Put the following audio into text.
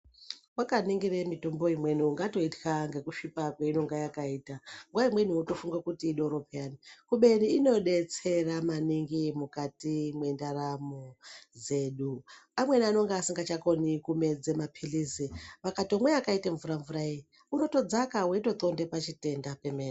Vakaningire mitombo imweni ungatoitwa ngekusvipa kwainonga yakaita. Nguva imweni votofunge kuti idoro peyani. Kube inobetsera maningi mukati mwendaramo dzedu. Amweni anonga asingachakoni kumedze maphirizi akatomwa akaite mvura-mvurai unotodzaka veitotxonde pachitenda chemene.